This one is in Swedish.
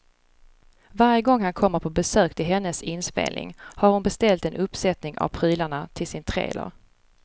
Varje gång han kommer på besök till hennes inspelning har hon beställt en uppsättning av prylarna till sin trailer.